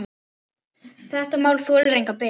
Þetta mál þolir enga bið.